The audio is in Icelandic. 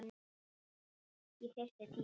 Ég þyrfti tíma.